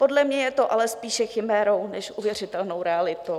Podle mě je to ale spíše chimérou než uvěřitelnou realitou.